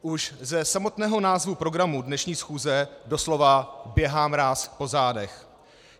Už ze samotného názvu programu dnešní schůze doslova běhá mráz po zádech.